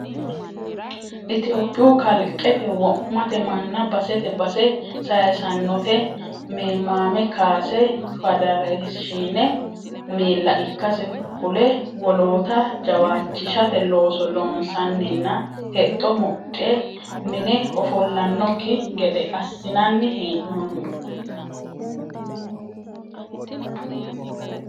Itophiyu Kalqete wo'mate manna basete base sayisanote memame kaase fadeereshine miilla ikkase kule wolootta jawaachishate looso loonsaninna hexxo mudhe mine ofollanokki gede assinanni hee'nonni.